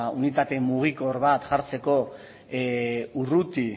unitate mugikor bat jartzeko urruti